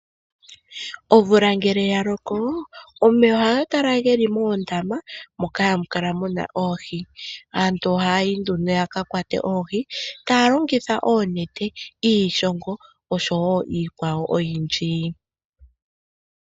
Omvula ngele ya loko, omeya ohaga kala ge li moondama moka hamu kala mu na oohi. Aantu ohayi nduno ya ka kwate oohi taya longitha oonete, iishongo osho wo iikwawo oyindji.